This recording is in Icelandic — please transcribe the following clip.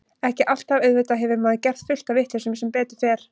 Ekki alltaf, auðvitað hefur maður gert fullt af vitleysum sem betur fer.